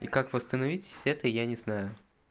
и как восстановить это я не знаю